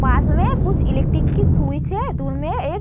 पास में कुछ इलेक्ट्रिक की स्विच है। दूर में एक --